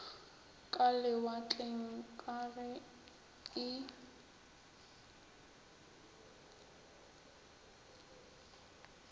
ka lewatleng ka ge e